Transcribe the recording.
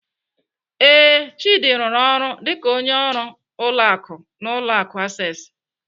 Ee, Chidi rụrụ ọrụ dịka onye ọrụ ụlọ akụ n'ụlọ akụ Access.